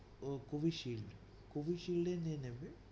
ও covishield, Covishield ই নিয়ে নিবে।